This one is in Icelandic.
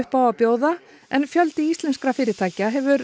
á að bjóða en fjöldi íslenskra fyrirtækja hefur